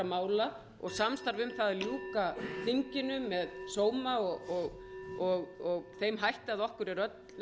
mála og samstarfs um það að ljúka þinginu með sóma og þeim hætti að okkur er öllum sómi að